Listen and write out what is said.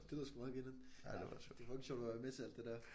Det lyder sgu meget grineren. Det er fucking sjovt at være med til alt det der